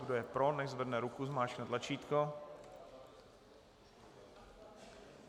Kdo je pro, nechť zvedne ruku, zmáčkne tlačítko.